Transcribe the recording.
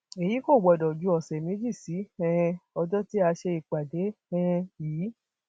èyí kò gbọdọ ju ọsẹ méjì sí um ọjọ tí a ṣe ìpàdé um yìí